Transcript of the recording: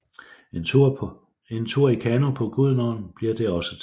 En tur i kano på Gudenåen bliver det også til